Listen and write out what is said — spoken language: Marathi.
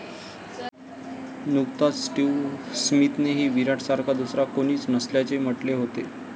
नुकताच स्टीव्ह स्मिथनेही विराटसारखा दुसरा कोणीच नसल्याचे म्हटले होते.